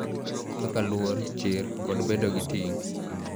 Kaka luor, chir, kod bedo gi ting�.